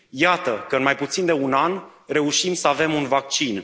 Iată că în mai puțin de un an reușim să avem un vaccin.